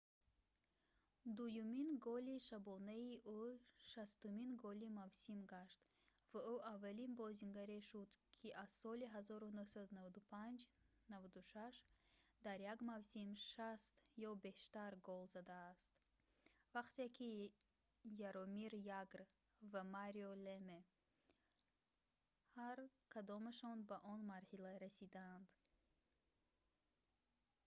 дуюмин голи шабонаи ӯ 60-умин голи мавсим гашт ва ӯ аввалин бозингаре шуд ки аз соли 1995-96 дар як мавсим 60 ё бештар гол задааст вақте ки яромир ягр ва марио леме ҳар кадомашон ба он марҳила расиданд